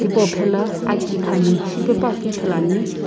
hipau phela aki khami shipepuakeu ithuluani.